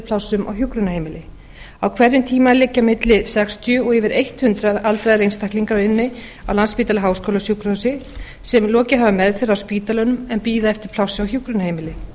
plássum á hjúkrunarheimili á hverjum tíma liggja milli sextíu og yfir hundrað aldraðir einstaklingar inni á landspítala háskólasjúkrahúsi sem lokið hafa meðferð á spítalanum en bíða eftir plássi á hjúkrunarheimili